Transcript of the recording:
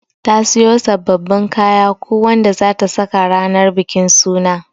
Ta siyo sabbabin kaya ko Wanda zata saka ranan bikin suna.